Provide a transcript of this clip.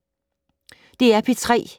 DR P3